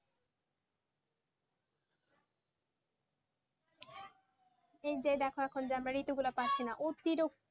এই যে দেখো আমরা এখন যেমন ঋতু গুলা পারছিনা